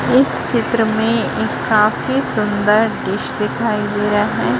इस चित्र में एक काफी सुंदर दृस दिखाई दे रहा है।